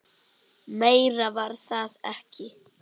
Meira var það ekki.